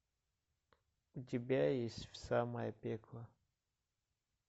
у тебя есть в самое пекло